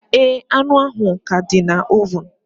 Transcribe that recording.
Ee, anụ ahụ ka dị na ovun